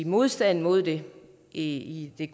modstand mod det i det